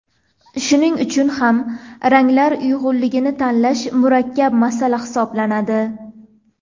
Shuning uchun ham ranglar uyg‘unligini tanlash murakkab masala hisoblanadi.